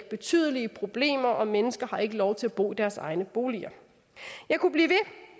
betydelige problemer og mennesker har ikke lov til at bo i deres egne boliger jeg kunne blive